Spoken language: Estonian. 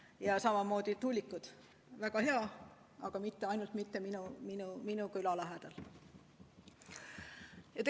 Ja samamoodi tuulikud: väga hea, aga ainult mitte minu küla lähedal!